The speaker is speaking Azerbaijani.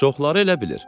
Çoxları elə bilir.